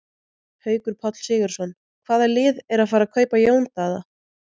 Haukur Páll Sigurðsson Hvaða lið er að fara að kaupa Jón Daða?